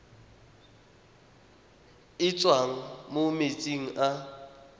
e tswang mo metsing a